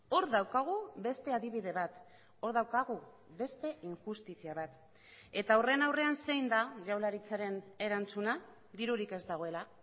hor daukagu beste adibide bat hor daukagu beste injustizia bat eta horren aurrean zein da jaurlaritzaren erantzuna dirurik ez dagoela